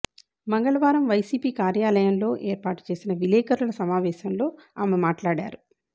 మంగళవారం వైసీపీ కార్యాలయంలో ఏర్పాటు చేసిన విలేకరుల సమావేశంలో ఆమె మాట్లాడారు